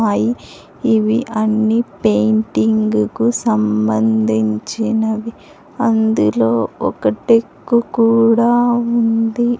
ఆయి అన్ని పెయింటింగ్ కు సంబంధించినవి అందులో ఒకటెక్కు కూడా ఉంది.